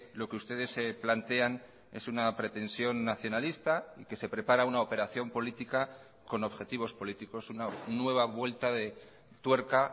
lo que ustedes se plantean es una pretensión nacionalista y que se prepara una operación política con objetivos políticos una nueva vuelta de tuerca